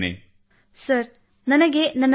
sir ನನಗೆ ಪ್ರೇರಣೆ ನನ್ನ ತಾಯಿ ತಂದೆಯರಿಂದ ದೊರೆಯುತ್ತದೆ